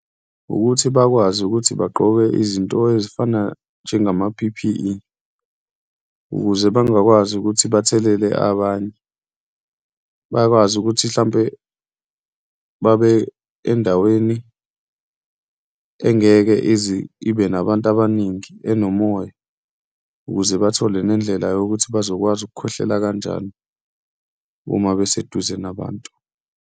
Wukuthi bakwazi ukuthi bagqoke izinto ezifana njengama-P_P_E ukuze bangakwazi ukuthi bathelele abanye, bakwazi ukuthi hlampe babe endaweni engeke izibe nabantu abaningi, enomoya ukuze bathole nendlela yokuthi bazokwazi ukukhwehlela kanjani uma beseduze nabantu.